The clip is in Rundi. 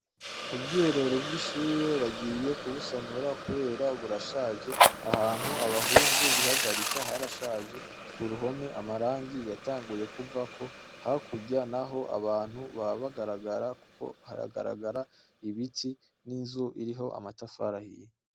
Ubwiherero bwishure bagiye kubusanura kubera burashaje, ahantu abahungu bihagarika harashaje kuruhome amarangi yatanguye kuvako hakurya naho, abantu baba bagaragara kuko haragaragara ibiti n'inzu iriho amatafari ahiye.